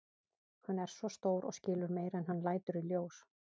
Hann er svo stór og skilur meira en hann lætur í ljós.